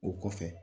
O kɔfɛ